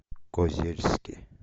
козельске